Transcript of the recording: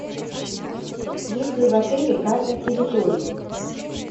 есть ли в отеле карта территории